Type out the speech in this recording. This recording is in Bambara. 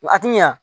A ti ɲɛ